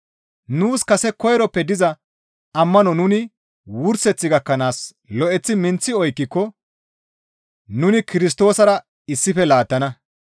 Nuus kase koyroppe diza ammano nuni wurseth gakkanaas lo7eththi minththi oykkiko nuni Kirstoosara issife laattana.